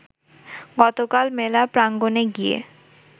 গতকাল মেলা প্রাঙ্গণে গিয়ে